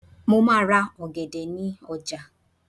mo ma ra ògèdè ni oja